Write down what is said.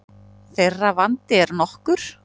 Þeirra vandi er nokkur.